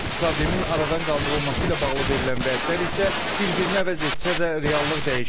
Problemin aradan qaldırılması ilə bağlı verilən vədlər isə bir-birini əvəz etsə də, reallıq dəyişmir.